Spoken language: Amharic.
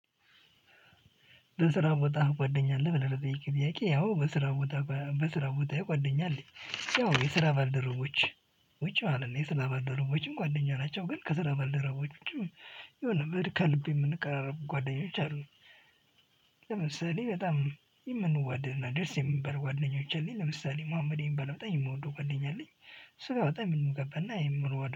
በስራ ቦታ ጓደኛ አለህ ብለህ ለጠየከኝ ጥያቄ ያው በስራ ቦታ በስራ ቦታዬ ጓደኛ አለኝ ያው የስራ ባልደረቦች ውጪ ማለት ነው። የስራ ባልደረቦችም ጓደኛ ናቸው። ግን ከስራ ባልደረቦች ውጪ የሆነ ከልብ የምንቀራረብ ጓደኞች አሉ። ለምሳሌ በጣም የምንዋድና ደስ የምንበል ጓደኞች አሉኝ ለምሳሌ መሀመድ የሚባል በጣም የምወደው ጓደኛ አለኝ። እሱ ጋር በጣ የምንግባባ እና የምንዋደድ